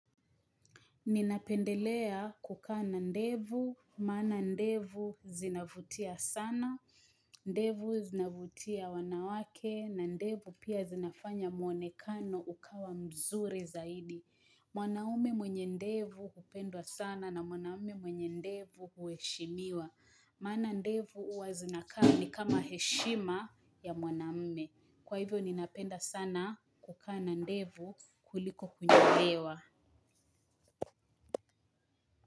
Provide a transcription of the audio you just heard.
Ninapendelea kukana ndevu, maana ndevu zinavutia sana, ndevu zinavutia wanawake, na ndevu pia zinafanya muonekano ukawa mzuri zaidi. Mwanaume mwenye ndevu hupendwa sana na mwanaume mwenye ndevu hueshimiwa. Maana ndevu huazina kaa ni kama heshima ya mwanaume. Kwa hivyo ninapenda sana kukaana ndevu kuliko kunyolewa.